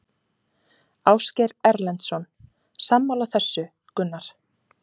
Ásgeir Erlendsson: Sammála þessu Gunnar?